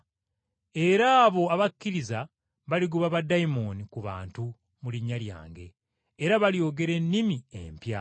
Era abo abakkiriza baligoba baddayimooni ku bantu mu linnya lyange, era balyogera ennimi empya.